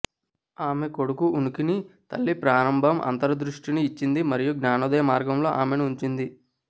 ఆమె కొడుకు ఉనికిని తల్లి ప్రారంభ అంతర్దృష్టిని ఇచ్చింది మరియు జ్ఞానోదయ మార్గంలో ఆమెను ఉంచింది